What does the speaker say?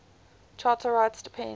charter rights depend